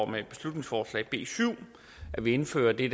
med beslutningsforslag nummer b syv at vi indfører det